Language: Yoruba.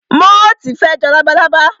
Móòtì fe jọ labalábá